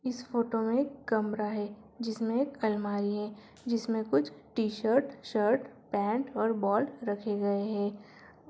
इस फोटो मे एक कमरा है जिसमें एक अलमारी है जिसमे कुछ टी-शर्ट शर्ट पेंट और बॉल रखे गए है।